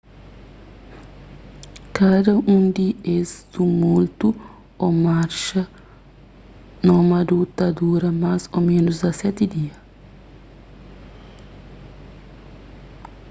kada un di es tumultu ô marxa nómadu ta dura más ô ménus 17 dias